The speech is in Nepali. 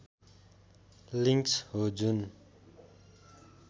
लिङ्क्स हो जुन